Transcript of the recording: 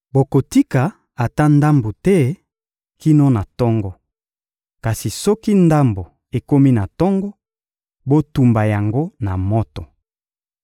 Bokotika ata ndambo te kino na tongo. Kasi soki ndambo ekomi na tongo, botumba yango na moto.